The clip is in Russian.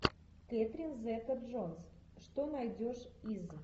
кэтрин зета джонс что найдешь из